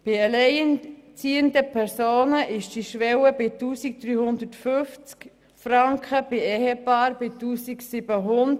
Bei alleinerziehenden Personen liegt diese Schwelle bei 1350 Franken und bei Ehepaaren bei 1700 Franken.